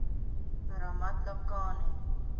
ramatlakane